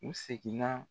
U seginna